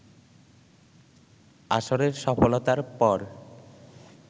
আসরের সফলতার পর